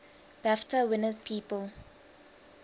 bafta winners people